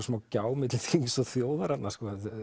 svona gjá milli þings og þjóðar þarna